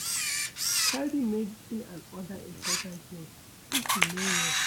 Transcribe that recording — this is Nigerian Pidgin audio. Carry medicine and oda important things if you no well